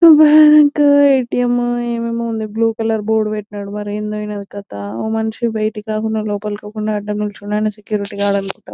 Bank ATM ఏమేమో ఉంది blue colour board పెట్టినారు మరి ఏమైందో కథ ఒక మనిషి బయట రాకుండా లోపలికి పోకుండా అడ్డం నిల్చున్నాడు అంటే సెక్యూరిటీ గార్డ్ అనుకుంటా.